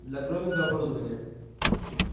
для гровинга оборудование